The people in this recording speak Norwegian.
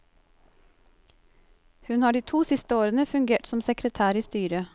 Hun har de to siste årene fungert som sekretær i styret.